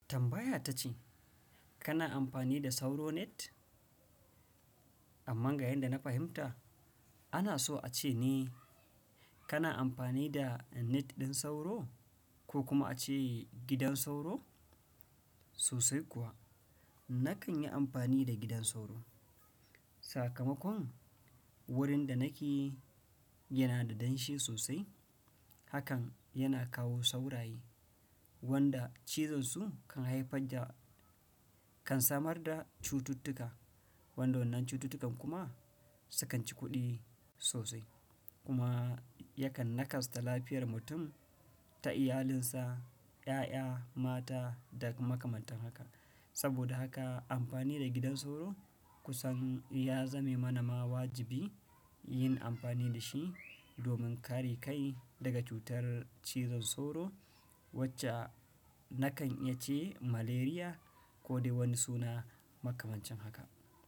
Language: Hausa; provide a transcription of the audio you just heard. Tambaya ta ce kana amfani da sauro net? Amma ga yanda na fahimta, ana so a ce ne kana amfani da net ɗin sauro ko kuma a ce gidan sauro? Sosai kuwa, na kan yi amfani da gidan sauro. Sakamakon wurin da nake yana da danshi sosai. Hakan yana kawo saurayi wanda cizon su kan haifar da kan samar da cututtuka. Wanɗannan cututtukan kuma sukan ci kuɗi sosai kuma yakan nakasa lafiyar mutum ta iyalinsa, ƴaƴa, mata da makamatan haka. Saboda haka amfani da gidan sauro kusan ya zame mana ma wajibi yin amfani da shi domin kare kai daga cutar cizon sauro wacce na kan yace malaria ko dai wani suna makamancin haka.